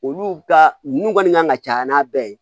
Olu ka nunnu kɔni kan ka caya n'a bɛɛ ye